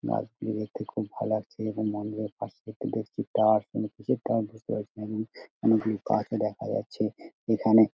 গাছ গুলি দেখতে খুব ভালো লাগছে এবং মন্দিরের পশে একটি দেখছি টাওয়ার কোনো কিছু আমি বুজতে পারছি না অনেক গুলি গাছ দেখা যাচ্ছে এখানে।